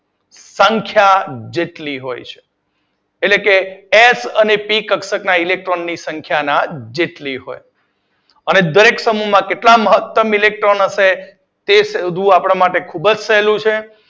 સંખ્યા જેટલી હોય છે એટલે કે એફ અને પી કક્ષક ના ઇલેક્ટ્રોન ની સંખ્યા ના જેટલી હોય અને દરેક સમૂહ માં કેટલા મહતમ ઇલેક્ટ્રોન હશે તે બધુ આપડા માટે ખૂબ જ સહેલું છે.